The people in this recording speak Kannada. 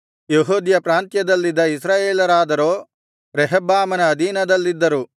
ಯೆಹೂದ್ಯ ಪ್ರಾಂತ್ಯದಲ್ಲಿದ್ದ ಇಸ್ರಾಯೇಲರಾದರೋ ರೆಹಬ್ಬಾಮನ ಅಧೀನದಲ್ಲಿದ್ದರು